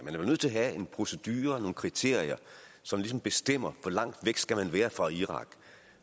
man er nødt til at have en procedure og nogle kriterier som ligesom bestemmer hvor langt væk man skal være fra irak